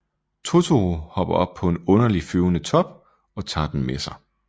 Totoro hopper op på en underlig flyvende top og tager dem med sig